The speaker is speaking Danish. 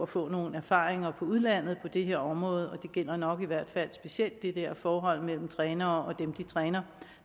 få nogle erfaringer fra udlandet på det her område det gælder nok i hvert fald specielt det der forhold mellem trænere og dem de træner